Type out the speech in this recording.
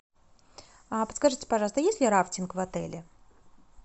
а подскажите пожалуйста есть ли рафтинг в отеле